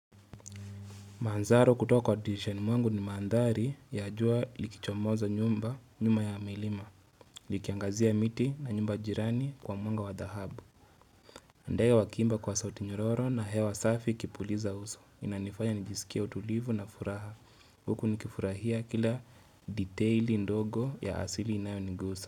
Maandhari kutoka kwa dirishani mwangu ni maandhari ya jua likichomoza nyumba nyuma ya milima, likiangazia miti na nyumba jirani kwa mwanga wa dhahabu. Ndege wakiimba kwa sauti nyororo na hewa safi ikipuliza uso. Inanifanya nijisikie utulivu na furaha. Huku nikifurahia kila detail ndogo ya asili inayonigusa.